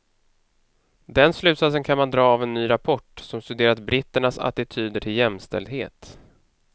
Den slutsatsen kan man dra av en ny rapport, som studerat britternas attityder till jämställdhet.